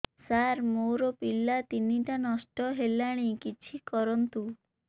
ସାର ମୋର ପିଲା ତିନିଟା ନଷ୍ଟ ହେଲାଣି କିଛି କରନ୍ତୁ